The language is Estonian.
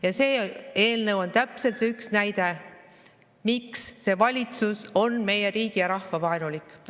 Ja see eelnõu on täpselt see üks näide, miks see valitsus on meie riigi ja rahva vaenulik.